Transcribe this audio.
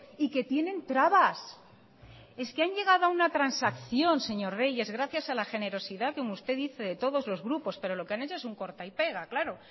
y que tienen trabas es que han llegado a una transacción señor reyes gracias a la generosidad como usted dice de todos los grupos pero lo que han hecho es un corta y pega claro